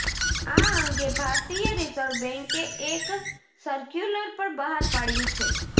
આ અંગે ભારતીય રિઝર્વ બેન્કે એક સર્ક્યુલર પણ બહાર પાડ્યુ છે